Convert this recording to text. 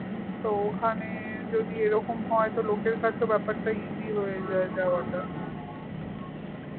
so ওখানে যদি এরকম হয় তো লোকের কাছেও ব্যাপারটা easy হয়ে যায় যাওয়াটা